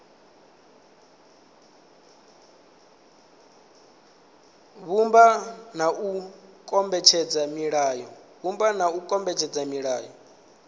vhumba na u kombetshedza milayo